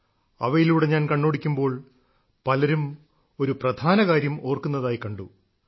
അവയിലൂടെ ഞാൻ കണ്ണോടിക്കുമ്പോൾ പലരും ഒരു പ്രധാന കാര്യം ഓർക്കുന്നതായി കണ്ടു